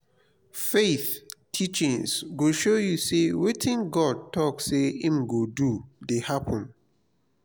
faith teachings go show yu say wetin god talk say im go do dey happened.